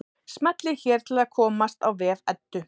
Smellið hér til að komast á vef Eddu.